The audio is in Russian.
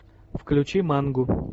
включи мангу